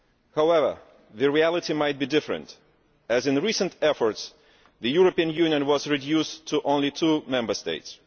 However, the reality might be different as, in recent efforts, the European Union was reduced to only two Member States.